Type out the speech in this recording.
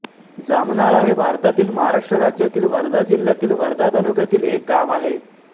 जामनाळा हे भारतातील महाराष्ट्र राज्यातील वर्धा जिल्ह्यातील वर्धा तालुक्यातील एक गाव आहे